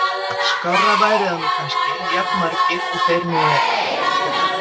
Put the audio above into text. Skárra væri það nú kannski, jafn margir og þeir nú eru.